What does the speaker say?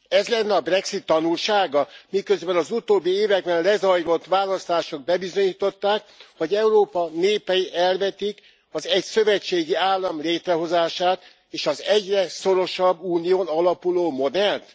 Ez lenne a brexit tanulsága, miközben az utóbbi években lezajlott választások bebizonyították, hogy Európa népei elvetik a szövetségi állam létrehozását, és az egyre szorosabb unión alapuló modellt?